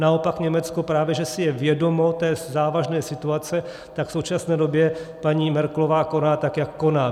Naopak Německo, právě že si je vědomo té závažné situace, tak v současné době paní Merkelová koná tak, jak koná.